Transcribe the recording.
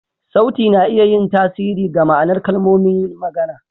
Sauti na iya yin tasiri ga ma'anar kalmomin magana.